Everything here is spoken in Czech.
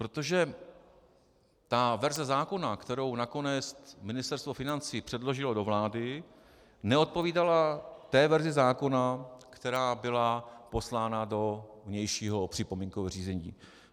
Protože ta verze zákona, kterou nakonec Ministerstvo financí předložilo do vlády, neodpovídala té verzi zákona, která byla poslána do vnějšího připomínkového řízení.